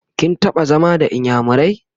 kin taɓa zama da inyamurai?